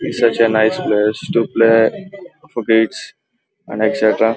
It's a nice place to kids and etcetera .